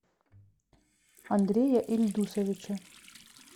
андрея ильдусовича